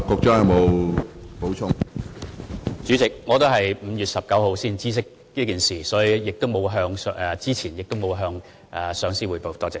主席，我也是在5月19日才知悉此事，所以我事前沒有向上司匯報。